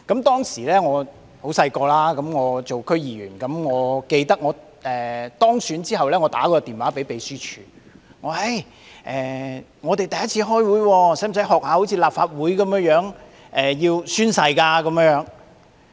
當時我很年青，我記得我在當選後致電秘書處，詢問第一次開會時是否要像立法會議員般宣誓。